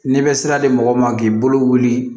N'i bɛ sira di mɔgɔ ma k'i bolo wuli